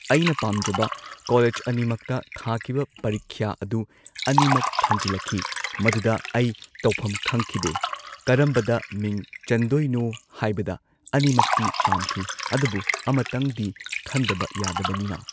ꯑꯩꯅ ꯄꯥꯝꯖꯕ ꯀꯣꯂꯦꯖ ꯑꯅꯤꯃꯛꯇ ꯊꯥꯈꯤꯕ ꯄꯔꯤꯈ꯭ꯌꯥ ꯑꯗꯨ ꯑꯅꯤꯃꯛ ꯈꯟꯖꯤꯜꯂꯛꯈꯤ ꯃꯗꯨꯗ ꯑꯩ ꯇꯧꯐꯝ ꯈꯪꯈꯤꯗꯦ ꯀꯔꯝꯕꯗ ꯃꯤꯡ ꯆꯟꯗꯣꯏꯅꯣ ꯍꯥꯏꯕꯗ ꯑꯅꯤꯃꯛꯇꯤ ꯄꯥꯝꯈꯤ ꯑꯗꯨꯕꯨ ꯑꯃꯇꯪꯗꯤ ꯈꯟꯗꯕ ꯌꯥꯗꯕꯅꯤꯅ